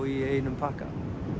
í einum pakka